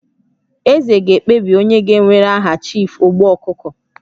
Eze ga-ekpebi onye ga-ewere aha Chief Ogbu Okuko